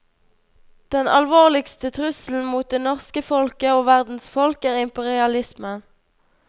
Den alvorligste trusselen mot det norske folket og verdens folk er imperialismen.